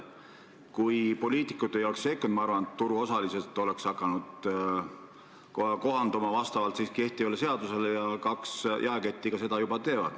Kui poliitikud ei oleks sekkunud, oleks turuosalised hakanud end sellele seadusele kohandama ja kaks jaeketti seda juba teevad.